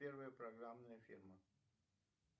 первая программная фирма